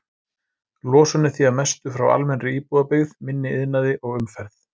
Losun er því að mestu frá almennri íbúabyggð, minni iðnaði og umferð.